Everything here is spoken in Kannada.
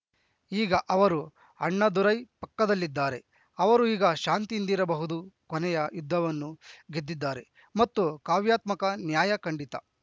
ಈಗ ಅವರು ಅಣ್ಣಾದುರೈ ಪಕ್ಕದಲ್ಲಿದ್ದಾರೆ ಅವರು ಈಗ ಶಾಂತಿಯಿಂದಿರಬಹುದು ಕೊನೆಯ ಯುದ್ಧವನ್ನು ಗೆದ್ದಿದ್ದಾರೆ ಮತ್ತು ಕಾವ್ಯಾತ್ಮಕ ನ್ಯಾಯ ಖಂಡಿತ